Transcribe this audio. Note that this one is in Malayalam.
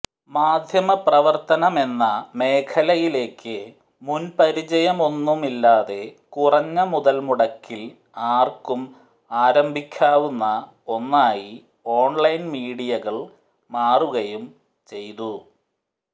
മാധ്യമപ്രവർത്തനമെന്ന മേഖലയിലേക്ക് മുൻപരിചയമൊന്നുമില്ലാതെ കുറഞ്ഞ മുതൽമുടക്കിൽ ആർക്കും ആരംഭിക്കാവുന്ന ഒന്നായി ഓൺലൈൻ മീഡിയകൾ മാറുകയും ചെയ്തു